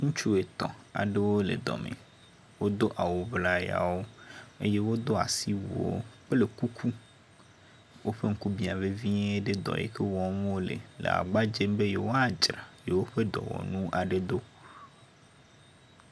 Ŋutsu etɔ̃ aɖewo le dɔ me. Wodo awuŋlayawo, eye wodo asiwuiwo kple kuku. Woƒe ŋku bia vevie ɖe dɔ yike wɔm wole le gbagba dzem be yewoadzra yewo ƒe dɔwɔnu aɖe ɖo.